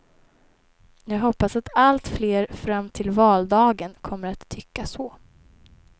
Jag hoppas att allt fler fram till valdagen kommer att tycka så.